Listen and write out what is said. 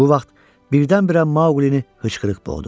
Bu vaxt birdən-birə Maqulini hıçqırıq boğdu.